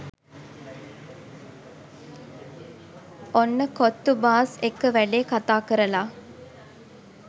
ඔන්න කොත්තු බාස් එක්ක වැඩේ කතා කරල